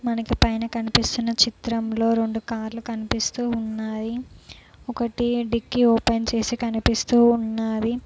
మనకి పైన కనిపిస్తున్న చిత్రంలో రెండు కార్లు కనిపిస్తూ ఉన్నాయి ఒకటి డికి ఓపెన్ చేసి కనిపిస్తూ ఉన్నది.